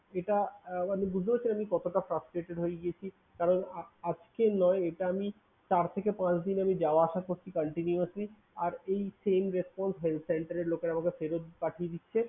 এটা আহ মানে বুঝতে পারছেন আমি কতটা frustrated হয়ে গিয়েছি? কারণ আজকের নয় এটা আমি চার থেকে পাঁচ দিন আমি যাওয়া আসা করছি continuously আর এই same response ban~center এর লোকেরা আমাকে ফেরত পাঠিয়ে দিচ্ছে।